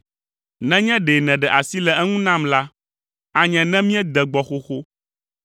Nenye ɖe nèɖe asi le eŋu nam la, anye ne míede gbɔ xoxo.”